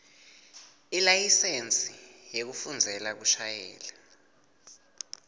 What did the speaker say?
selayisensi yekufundzela kushayela